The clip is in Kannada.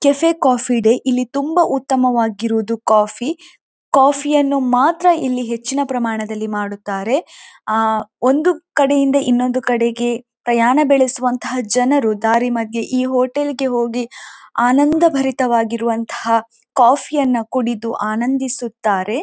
ಕೆಫೆ ಕಾಫೀ ಡೆ ಇಲ್ಲಿ ತುಂಬ ಉತ್ತಮವಾಗಿರುವುದು ಕಾಫಿ ಕಾಫಿ ಯನ್ನು ಮಾತ್ರ ಇಲ್ಲಿ ಹೆಚ್ಚಿನ ಪ್ರಮಾಣದಲ್ಲಿ ಮಾಡುತ್ತಾರೆ ಆಂ ಒಂದು ಕಡೆಯಿಂದ ಇನ್ನೊಂದು ಕಡೆಗೆ ಪ್ರಯಾಣ ಬೆಳೆಸುವಂಥ ಜನರು ದಾರಿ ಮಧ್ಯೆ ಈ ಹೋಟೆಲ್ ಗೆ ಹೋಗಿ ಆನಂದಭರಿತರಾಗಿರುವಂಥ ಕಾಫಿ ಯನ್ನು ಕುಡಿದು ಆನಂದಿಸುತ್ತಾರೆ.